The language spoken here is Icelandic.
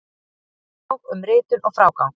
Handbók um ritun og frágang.